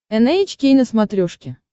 эн эйч кей на смотрешке